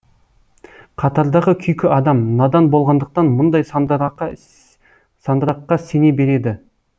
қатардағы күйкі адам надан болғандықтан мұндай сандыраққа сене береді